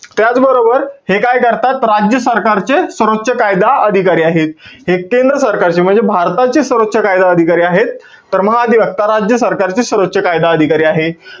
त्याचबरोबर, हे काय करतात? राज्य सरकारचे सर्वोच्च कायदा अधिकारी आहेत. हे केंद्र सरकारचे म्हणजे भारताचे सर्वोच्च कायदा अधिकारी आहेत. तर महाधिवक्ता राज्य सरकारचे सर्वोच्च कायदा अधिकारी आहेत.